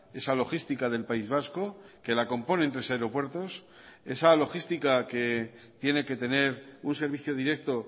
esa logística del país vasco que la componen tres aeropuertos esa logística que tiene que tener un servicio directo